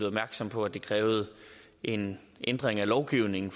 opmærksom på at det krævede en ændring af lovgivningen